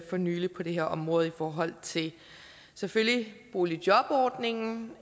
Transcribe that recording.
for nylig på det her område i forhold til selvfølgelig boligjobordningen